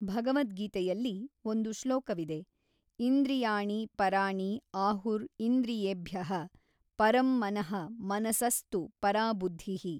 ಭಗವದ್ಗೀತೆಯಲ್ಲಿ ಒಂದು ಶ್ಲೋಕವಿದೆ ಇಂದ್ರಿಯಾಣಿ ಪರಾಣಿ ಆಹುರ್ ಇಂದ್ರಿಯೇಭ್ಯಃ ಪರಂ ಮನಃ ಮನಸಸ್ ತು ಪರಾ ಬುದ್ಧಿಃ.